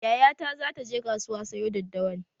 Yaya ta zata je kasuwa sayo daddawan